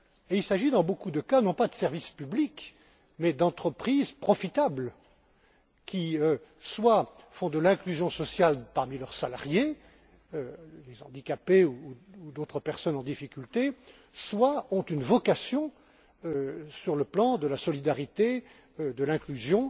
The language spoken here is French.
Il s'agit, dans beaucoup de cas, non pas de services publics, mais d'entreprises profitables qui soit font de l'inclusion sociale parmi leurs salariés les handicapés ou d'autres personnes en difficulté soit ont une vocation sur le plan de la solidarité, de l'inclusion,